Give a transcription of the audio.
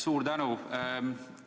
Suur tänu!